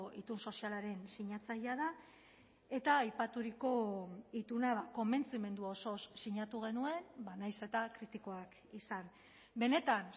itun sozialaren sinatzailea da eta aipaturiko itunak konbentzimendu osoz sinatu genuen nahiz eta kritikoak izan benetan